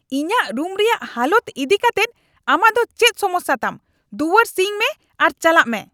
ᱤᱧᱟᱜ ᱨᱩᱢ ᱨᱮᱭᱟᱜ ᱦᱟᱞᱚᱛ ᱤᱫᱤᱠᱟᱛᱮᱫ ᱟᱢᱟᱜ ᱫᱚ ᱪᱮᱫ ᱥᱚᱢᱚᱥᱥᱟ ᱛᱟᱢ ? ᱫᱩᱣᱟᱹᱨ ᱥᱤᱧ ᱢᱮ ᱟᱨ ᱪᱟᱞᱟᱜ ᱢᱮ ᱾(ᱠᱚᱲᱟ ᱜᱤᱫᱨᱟᱹ)